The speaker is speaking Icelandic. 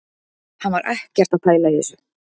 Hann var ekkert að pæla í þessu